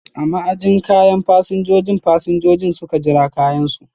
A ma'ajin kayan fasinjojin, fasinjojin suka jira kayan su.